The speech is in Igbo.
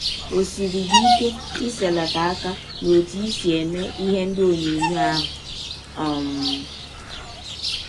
Ọ siri gị ike iselata aka n’ọtụ i si eme ihe ndị ọnyọnyọ ahụ um?